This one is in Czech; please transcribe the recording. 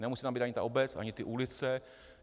Nemusí tam být ani ta obec ani ty ulice.